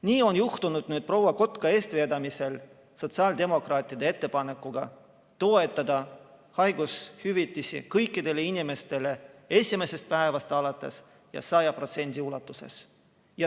Nii on juhtunud nüüd proua Kotka eestvedamisel sotsiaaldemokraatide ettepanekuga toetada haigushüvitisi kõikidele inimestele esimesest päevast alates ja 100% ulatuses.